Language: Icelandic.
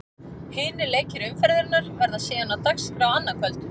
Hinir leikir umferðarinnar verða síðan á dagskrá annað kvöld.